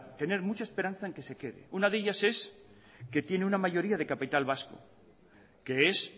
tener mucha esperanza en que se quede una de ellas es que tiene una mayoría de capital vasco que es